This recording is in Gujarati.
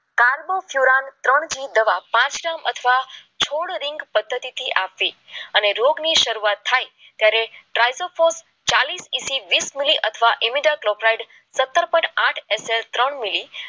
પાંખીયો તીરાશ ત્રણ ની દવા લાસ્ટ ટાઈમ અથવા છો રીંગ પદ્ધતિથી આપવી અને રોગ શરૂઆત થાય ત્યારે ટ્રાય ટુ ફર્સ્ટ વીસ મીલી અથવા ઈમેલ પ્રોપ્લાય ત્રણ મીલી